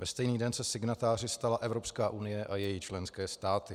Ve stejný den se signatáři stala Evropská unie a její členské státy.